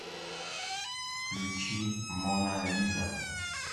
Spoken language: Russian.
включи мона лиза